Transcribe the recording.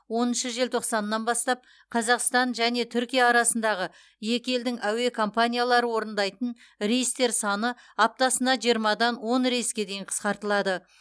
оныншы желтоқсанынан бастап қазақстан және түркия арасындағы екі елдің әуе компаниялары орындайтын рейстер саны аптасына жиырмадан он рейске дейін қысқартылады